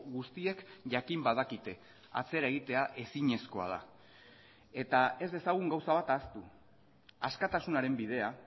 guztiek jakin badakite atzera egitea ezinezkoa da eta ez dezagun gauza bat ahaztu askatasunaren bidea